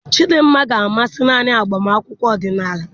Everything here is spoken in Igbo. Chidinma ga-amasị naanị agbamakwụkwọ ọdịnala.